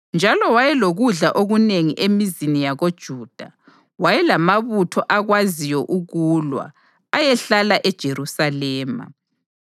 njalo wayelokudla okunengi emizini yakoJuda. Wayelamabutho akwaziyo ukulwa ayehlala eJerusalema.